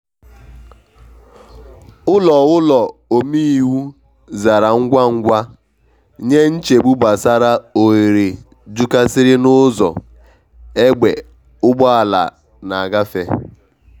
ụlọ ụlọ omeiwu zara ngwa ngwa nye nchegbu gbasara oghere jukasiri n’ụzọ egbe ugbọala na agbafe.